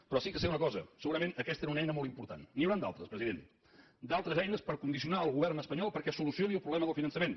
però sí que sé una cosa segurament aquesta era una eina molt important n’hi haurà d’altres president d’altres eines per condicionar el govern espanyol perquè solucioni el problema del finançament